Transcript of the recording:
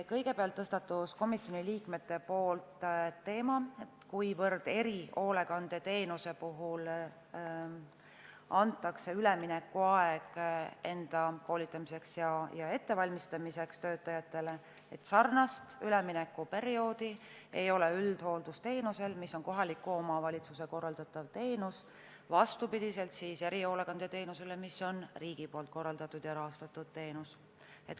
Kõigepealt tõstatasid komisjoni liikmed teema, et erihoolekandeteenuse puhul antakse töötajatele üleminekuaeg enda koolitamiseks ja ettevalmistamiseks, aga sarnast üleminekuperioodi ei ole üldhooldusteenuse puhul, mis on kohaliku omavalitsuse korraldatav teenus, vastupidi erihoolekandeteenusele, mis on riigi korraldatud ja rahastatud teenus.